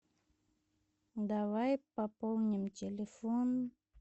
давай пополним телефон